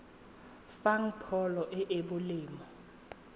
fang pholo e e molemo